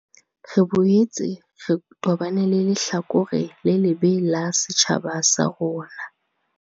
Re boetse re tobane le lehlakore le lebe la setjhaba sa rona.